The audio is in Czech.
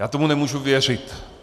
Já tomu nemůžu věřit.